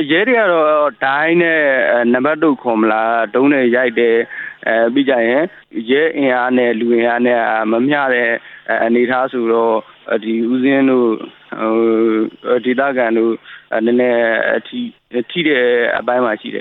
ရဲတွေကတော့ ဒိုင်းနဲ့ နောက်တုတ်နဲ့ ရိုက်တယ်၊ ရဲအင်အားနဲ့ လူအင်အား မမျှတဲ့အနေအထားဆိုတော့ ဦးဇင်းတို့၊ ဒေသခံတို့ နည်းနည်းထိတဲ့အပိုင်းမှာရှိတယ